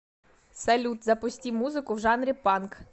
салют запусти музыку в жанре панк